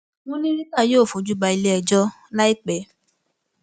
wọn ní rita yóò fojú balẹẹjọ láìpẹ